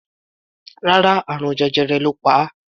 Rárá, àrùn jẹjẹrẹ ló pa á.